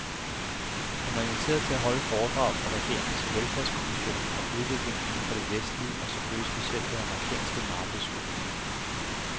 Han var inviteret til at holde et foredrag for regeringens velfærdskommission om udviklingen inden for det vestlige og selvfølgelig specielt den amerikanske markedsøkonomi.